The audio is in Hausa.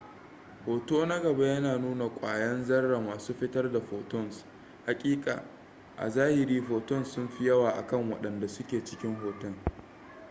hoto na gaba yana nuna kwayan zarra masu fitar da photons hakika a zahiri photons sunfi yawa akan waɗanda suke cikin hoton